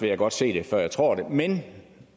jeg godt se før jeg tror det men